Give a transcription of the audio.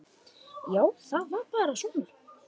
Já, það er bara svona.